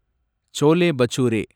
chole bhature